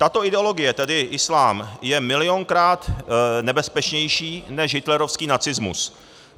Tato ideologie, tedy islám, je milionkrát nebezpečnější než hitlerovský nacismus.